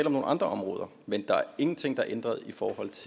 om nogle andre områder men der er ingenting der er ændret